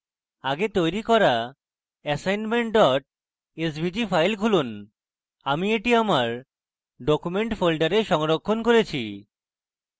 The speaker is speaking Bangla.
আগে তৈরী করা assignment svg file খুলুন আমি এটি আমার document folder সংরক্ষণ করেছি